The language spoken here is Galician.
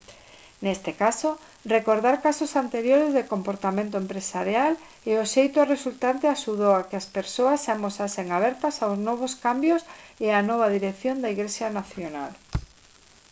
neste caso recordar casos anteriores de comportamento empresarial e o éxito resultante axudou á que as persoas se amosasen abertas aos novos cambios e a nova dirección da igrexa nacional